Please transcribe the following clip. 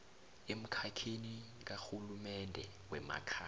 emkhakheni karhulumende wemakhaya